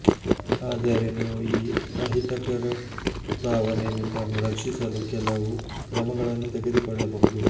ಆದರೆ ನೀವು ಈ ಅಹಿತಕರ ಭಾವನೆ ನಿಮ್ಮನ್ನು ರಕ್ಷಿಸಲು ಕೆಲವು ಕ್ರಮಗಳನ್ನು ತೆಗೆದುಕೊಳ್ಳಬಹುದು